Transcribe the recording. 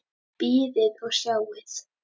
Bíðið og sjáið!